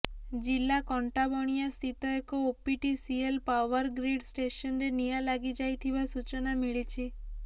ଜିଲ୍ଲାର କଣ୍ଟାବଣିଆ ସ୍ଥିତ ଏହି ଓପିଟିସିଏଳ ପାୱାର ଗ୍ରୀଡ଼ ଷ୍ଟେସନରେ ନିଆଁ ଲାଗିଯାଇଥିବା ସୂଚନା ମିଳିଛି